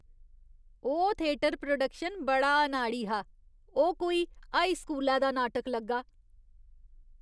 ओह् theatre production बड़ा अनाड़ी हा। ओह् कोई हाई स्कूलै दा नाटक लग्गा।